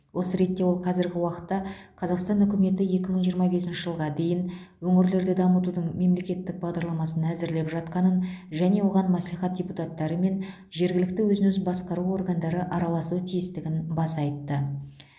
осы ретте ол қазіргі уақытта қазақстан үкіметі екі мың жиырма бесінші жылға дейін өңірлерді дамытудың мемлекеттік бағдарламасын әзірлеп жатқанын және оған мәслихат депутаттары мен жергілікті өзін өзі басқару органдары араласуы тиістігін баса айтты